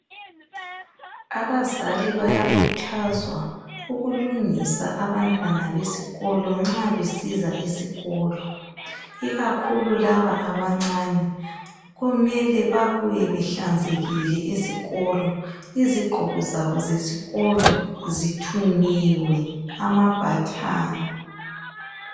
Abazali bayakhuthazwa ukulungisa abantwana besikolo nxa besiza esikolo . Ikakhulu laba abancane kumele babuye behlanzekile esikolo. Izigqoko zabo zesikolo zithungiwe ama button.